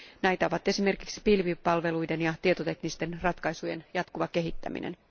Näitä ovat esimerkiksi pilvipalveluiden ja tietoteknisten ratkaisujen jatkuva kehittäminen.